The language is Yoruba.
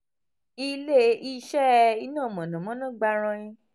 ile-iṣẹ iná mọ̀nàmọ́ná gbarain